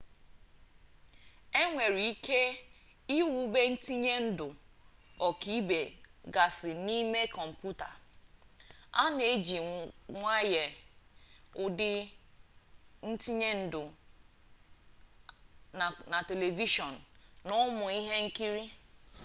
e nwere ike iwube ntinyendụ ọkaibe gasị n'ụmụ kọmpụta a na-ejiwanye ụdị ntinyendụ a na telivishọn na ụmụ ihe nkiri